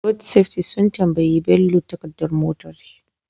Road safety sun tambayi bello takadar motar shi